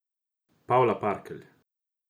Pavla Parkelj.